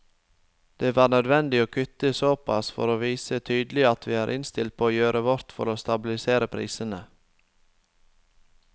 Det var nødvendig å kutte såpass for å vise tydelig at vi er innstilt på å gjøre vårt for å stabilisere prisene.